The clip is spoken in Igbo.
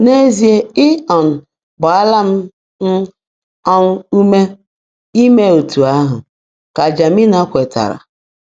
“N'ezie, Ị um gbaala m m um ume ime etu ahụ, ” ka Janina kwetara.